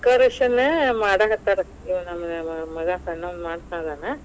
Decoration ಮಾಡಾಕತ್ತಾರ ಇವಾ ನಮ್ ಮಗಾ ಸಣ್ಣಾವಾ ಮಾಡ್ತಾ ಇದಾನ.